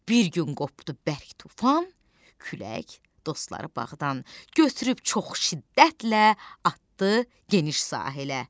Bir gün qopdu bərk tufan, külək dostları bağdan götürüb çox şiddətlə atdı geniş sahilə.